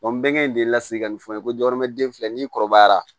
bɛngɛn de lasigi ka nin fɔ n ye ko dɔrɔmɛ den fila n'i kɔrɔbayara